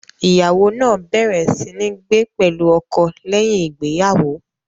Ìyàwó náà bẹ̀rẹ̀ sí ní gbé pẹ̀lú ọkọ lẹ́yìn ìgbéyàwó.